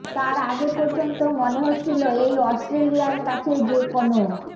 তার আগে পর্যন্ত মনে হচ্ছিল এই অস্ট্রেলিয়ার কাছে যে কোনও